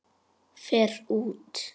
Fer út.